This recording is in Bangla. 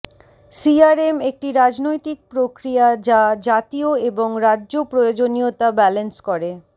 সিআরএম একটি রাজনৈতিক প্রক্রিয়া যা জাতীয় এবং রাজ্য প্রয়োজনীয়তা ব্যালেন্স করে